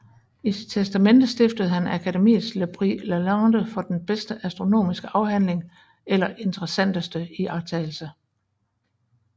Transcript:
I sit testamente stiftede han Akademiets le prix Lalande for den bedste astronomiske afhandling eller interessanteste iagttagelse